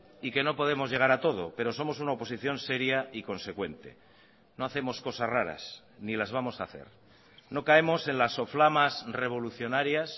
y que no podemos llegar a todo pero somos una oposición seria y consecuente no hacemos cosas raras ni las vamos a hacer no caemos en las soflamas revolucionarias